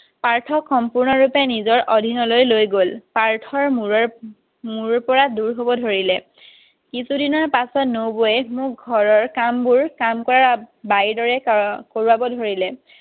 পাৰ্থক সম্পূৰ্ণ ৰূপে নিজৰ অধীনলৈ লৈ গ'ল পাৰ্থৰ মোৰত মোৰ পৰা দূৰ হ'ব ধৰিলে কিছু দিনৰ পিছত নবৌৱে মোক ঘৰৰ কাম কৰা বাই দৰে কৰোৱাব ধৰিলে